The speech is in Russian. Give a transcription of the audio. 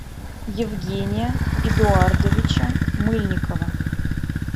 евгения эдуардовича мыльникова